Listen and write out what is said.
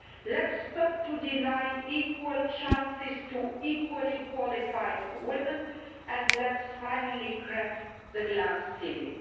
Let us stop denying equal chances to equally qualified women, and let us finally crack the glass ceiling.